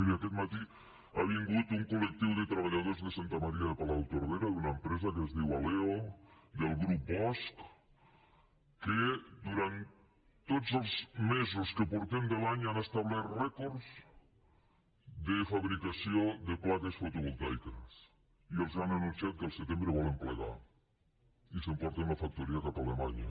miri aquest matí ha vingut un colde santa maria de palautordera d’una empresa que es diu aleo del grup bosch que durant tots els mesos que han passat de l’any han establert rècords de fabricació de plaques fotovoltaiques i els han anunciat que al setembre volen plegar i s’emporten la factoria cap a alemanya